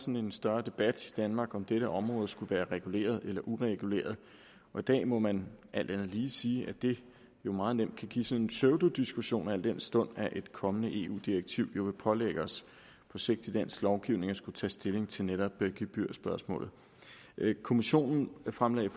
en større debat i danmark om dette område skulle være reguleret eller ureguleret og i dag må man alt andet lige sige at det jo meget nemt kan give sådan en pseudodiskussion al den stund at et kommende eu direktiv jo vil pålægge os på sigt i dansk lovgivning at skulle tage stilling til netop gebyrspørgsmålet kommissionen fremlagde